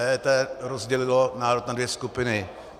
EET rozdělilo národ na dvě skupiny.